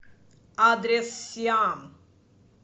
адрес сиам